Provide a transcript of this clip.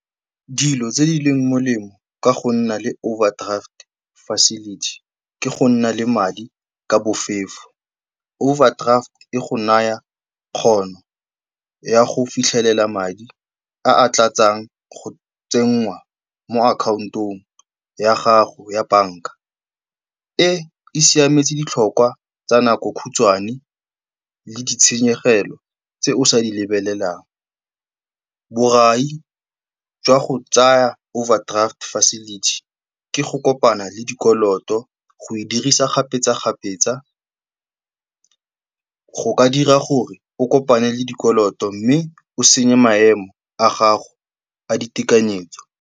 Dilo tse di leng molemo ka go nna le overdraft facility ke go nna le madi ka bofefo. Overdraft e go naya kgono ya go fitlhelela madi a a tlatsang go tsenngwa mo akhaontong ya gago ya banka. E e siametse ditlhokwa tsa nako khutshwane le ditshenyegelo tse o sa di lebelelang. Borai jwa go tsaya overdraft facility ke go kopana le dikoloto, go e dirisa kgapetsa-kgapetsa go ka dira gore o kopane le dikoloto mme o senye maemo a gago a ditekanyetso.